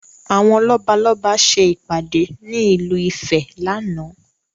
Àwọn lọ́balọ́ba ṣe ìpàdé ní ìlú ìfẹ́ láánaà